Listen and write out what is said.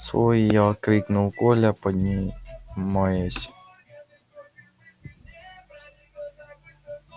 свой я крикнул коля поднимаясь